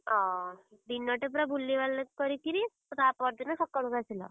ଅ, ଦିନଟେ ପୁରା ବୁଲି ବାଲି କରିକିରି, ତାପର ଦିନ ସକାଳକୁ ଆସିଲ?